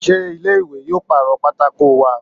Sé ilé ìwé yóò pàrọ̀ pátákó wa?